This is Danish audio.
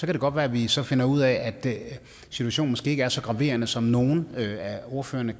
kan godt være at vi så finder ud af at situationen ikke er så graverende som nogle af ordførerne